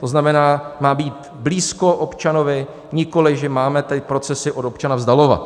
To znamená, má být blízko občanovi, nikoliv že máme ty procesy od občana vzdalovat.